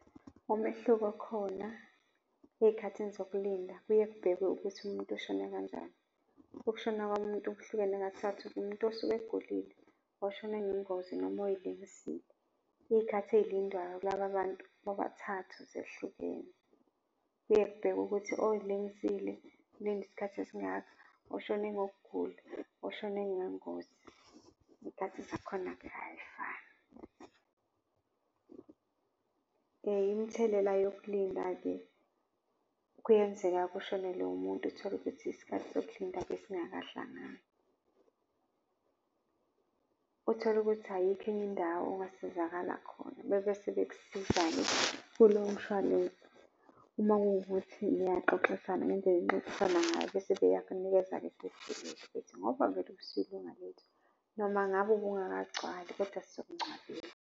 Umehluko okhona ezikhathini zokulinda kuye kuyekubhekwe ukuthi umuntu ushone kanjani. Ukushona komuntu kuhlukene kathathu, umuntu osuke egulile, oshone ngengozi noma oyilengisile. Izikhathi ezilindwayo kulaba bantu bobathathu zehlukene. Kuye kubhekwe ukuthi oyilengisile ulinda isikhathi esingaka, oshone ngokugula, oshone ngengozi, izikhathi zakhona-ke ayifani. Imithelela yokulinda-ke, kuyenzeka kushonele umuntu uthole ukuthi isikhathi sokulinda besingakahlangani. Uthole ukuthi ayikho enye indawo ongasizakala khona bebese bekusiza-ke ku lowo mshwalense uma kuwukuthi niyaxoxisana ngendlela enixoxisana ngayo bese beyakunikeza ngoba vele usuyilunga lethu, noma ngabe ubungakagcwali kodwa sizokungcwabela.